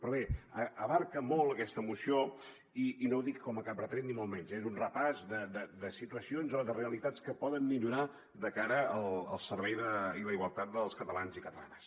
però bé abraça molt aquesta moció i no ho dic com cap retret ni molt menys eh és un repàs de situacions o de realitats que poden millorar de cara al servei i la igualtat dels catalans i catalanes